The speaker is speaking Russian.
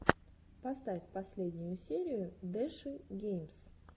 поставь последнюю серию дэши геймс